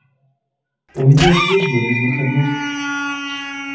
у меня служба без выходных